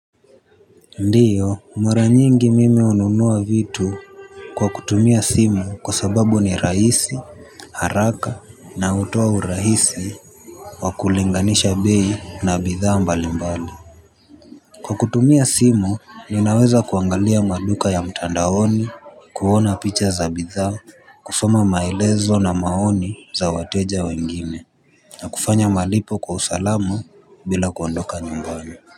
Ndiyo mara nyingi mimi hununua vitu. Kwa kutumia simu kwa sababu ni rahisi. Haraka na hutoa urahisi wa kulinganisha bei na bidhaa mbali mbali. Kwa kutumia simu ninaweza kuangalia maduka ya mtandaoni kuona picha za bidhaa. Kusoma maelezo na maoni za wateja wengine. Na kufanya malipo kwa usalama bila kuondoka nyumbani.